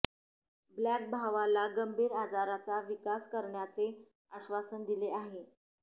black भावाला गंभीर आजारांचा विकास करण्याचे आश्वासन दिले आहे